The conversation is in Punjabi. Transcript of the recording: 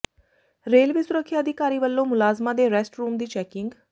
ਰੇਲਵੇ ਸੁਰੱਖਿਆ ਅਧਿਕਾਰੀ ਵੱਲੋਂ ਮੁਲਾਜ਼ਮਾਂ ਦੇ ਰੈਸਟਰੂਮ ਦੀ ਚੈਕਿੰਗ